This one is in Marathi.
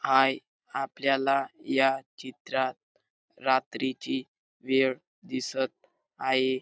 हाय आपल्याला या चित्रात रात्रीची वेळ दिसत आहे.